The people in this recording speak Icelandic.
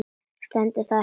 Stendur það ekki ennþá?